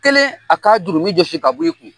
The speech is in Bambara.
Kelen a ka jurumu jɔsi ka bɔ i kun.